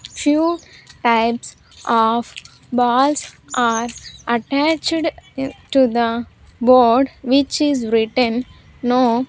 Few types of balls are attached to the board which is written no --